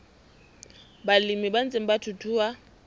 balemi ba ntseng ba thuthuha